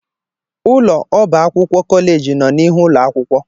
Ụlọ ọba akwụkwọ kọleeji nọ n'ihu ụlọ akwụkwọ.